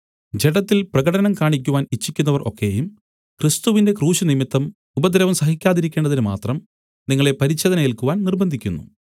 ജഡത്തിൽ പ്രകടനം കാണിക്കുവാൻ ഇച്ഛിക്കുന്നവർ ഒക്കെയും ക്രിസ്തുവിന്റെ ക്രൂശ് നിമിത്തം ഉപദ്രവം സഹിക്കാതിരിക്കേണ്ടതിന് മാത്രം നിങ്ങളെ പരിച്ഛേദന ഏൽക്കുവാൻ നിർബ്ബന്ധിക്കുന്നു